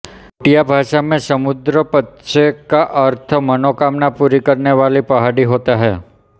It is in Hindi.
भूटिया भाषा में समद्रुपत्से का अर्थ मनोकामना पूरी करने वाली पहाड़ी होता है